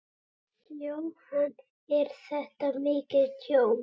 Jóhann: Er þetta mikið tjón?